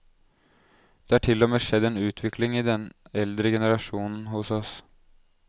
Det er til og med skjedd en utvikling i den eldre generasjon hos oss.